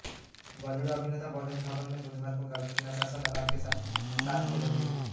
बॉलीवुड अभिनेता वरुण धवन ने बुधवार को गर्लफ्रेंड नताशा दलाल के साथ सात फेरे लिए